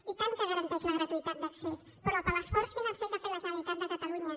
i tant que garanteix la gratuïtat d’accés però per l’esforç financer que ha fet la generalitat de catalunya